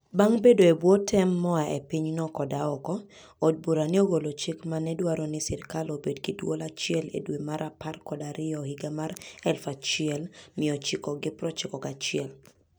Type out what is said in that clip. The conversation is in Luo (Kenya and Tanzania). Bang' bedo e bwo tem moa e pinyno koda oko, od bura ne ogolo chik ma ne dwaro ni sirkal obed gi duol achiel e dwe mar apar kod ariyo higa 1991.